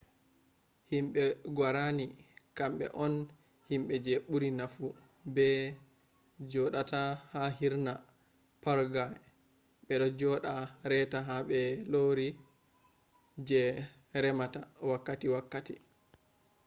himbe guarani kambe on himbe je buri nafu be jqodata ha hirna paraguay bedo joda reta ba borori je remita wakkati wakkati